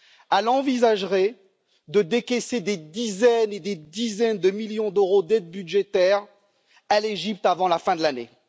Elle envisagerait de décaisser des dizaines et des dizaines de millions d'euros d'aide budgétaire à l'Égypte avant la fin de l'année.